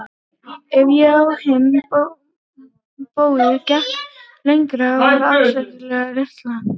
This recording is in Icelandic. Ef ég á hinn bóginn gekk lengra var ég afskaplega óréttlát.